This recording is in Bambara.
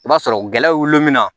I b'a sɔrɔ gɛlɛw woloma